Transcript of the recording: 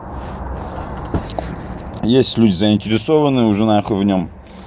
есть люди заинтересованные уже на хуй в нём